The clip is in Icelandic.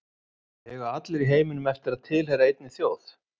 Eiga allir í heiminum eftir að tilheyra einni þjóð?